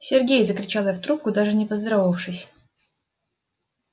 сергей закричала я в трубку даже не поздоровавшись